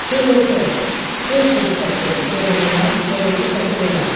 Cırıltı, cırcır səsi, cırıldayan, cırıltı səsi verən.